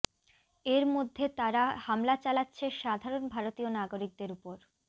এর মধ্য়ে তারা হামলা চালাচ্ছে সাধারণ ভারতীয় নাগরিকদের উপর